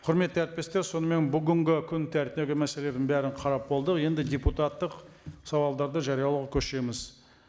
құрметті әріптестер сонымен бүгінгі күн тәртібі мәселелерін бәрін қарап болдық енді депутаттық сауалдарды жариялауға көшеміз